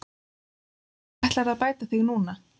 Hvernig ætlarðu að bæta þig núna?